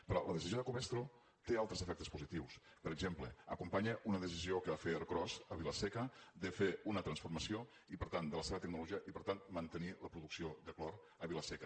però la decisió de covestro té altres efectes positius per exemple acompanya una decisió que feia ercros a vila seca de fer una transformació de la seva tecnologia i per tant mantenir la producció de clor a vila seca